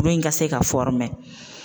Kuru in ka se ka .